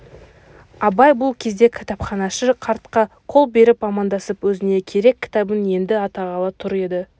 абай бұл кезде кітапханашы қартқа қол беріп амандасып өзіне керек кітабын енді атағалы тұр еді